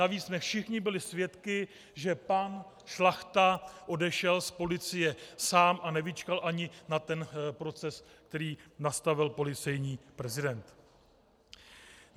Navíc jsme všichni byli svědky, že pan Šlachta odešel z policie sám a nevyčkal ani na ten proces, který nastavil policejní prezident.